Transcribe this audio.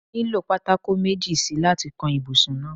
No nílò pátákó méjì si láti kan ibùsùn náà.